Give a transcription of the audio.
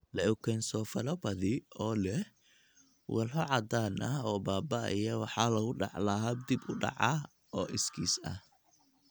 Leukoencephalopathy oo leh walxo caddaan ah oo baaba'aya waxaa lagu dhaxlaa hab dib u dhac ah oo iskiis ah.